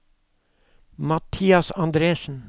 Mathias Andresen